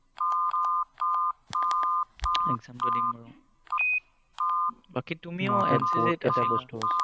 Exam টো দিম বাৰু। বাকী তুমি NCC ত আছিলা।